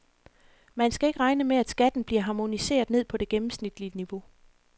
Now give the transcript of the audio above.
Men man skal ikke regne med, at skatten bliver harmoniseret ned på det gennemsnitlige niveau.